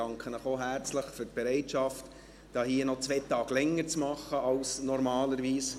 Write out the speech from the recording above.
Ich danke Ihnen auch herzlich für die Bereitschaft, hier noch zwei Tage länger zu machen als normalerweise.